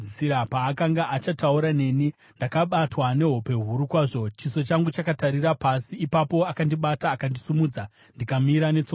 Paakanga achataura neni, ndakabatwa nehope huru kwazvo, chiso changu chakatarira pasi. Ipapo akandibata akandisimudza ndikamira netsoka dzangu.